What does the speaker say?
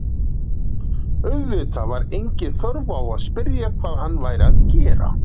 Auðvitað var engin þörf á að spyrja hvað hann væri að gera.